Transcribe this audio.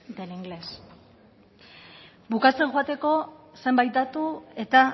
del inglés bukatzen joateko zenbait datu eta